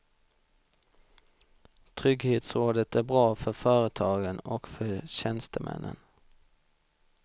Trygghetsrådet är bra för företagen och för tjänstemännen.